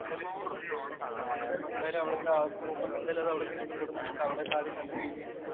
എന്തായാലും ഇഷ്ടപ്പെടും. എന്തായാലും അവിടെ മൂപ്പര്‍ക്ക് എന്തായാലും അവിടെയൊക്കെ ഇഷ്ടപ്പെടും. മൂപ്പര് അവിടെ കാര്യം കണ്ടു കഴിഞ്ഞ്